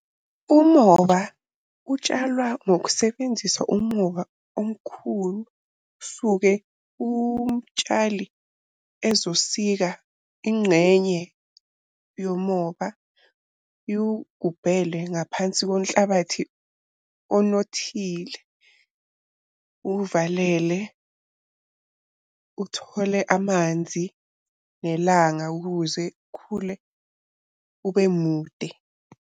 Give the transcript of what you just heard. Umoba utshalwa ngokusebenzisa umoba omkhulu. Suke umtshali ezosika ingxenye yomoba iwugubhele ngaphansi konhlabathi onothile. Uvalele, uthole amanzi nelanga ukuze khule ube mude.